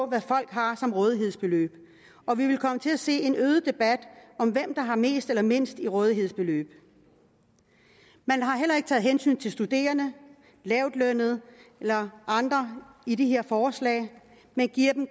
hvad folk har som rådighedsbeløb og vi vil komme til at se en øget debat om hvem der har mest eller mindst i rådighedsbeløb man har heller ikke taget hensyn til studerende lavtlønnede eller andre i de her forslag men giver